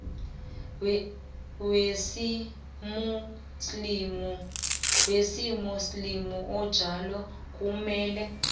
wesimuslimu onjalo kumele